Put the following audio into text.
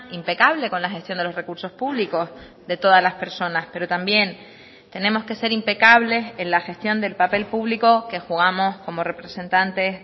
impecable con la gestión de los recursos públicos de todas las personas pero también tenemos que ser impecables en la gestión del papel público que jugamos como representantes